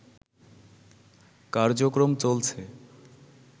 কার্যক্রম চলছে